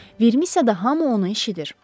Vermisiyada hamı onu eşidir.